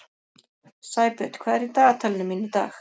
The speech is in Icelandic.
Sæbjörn, hvað er í dagatalinu mínu í dag?